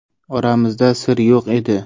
Oramizda sir yo‘q edi.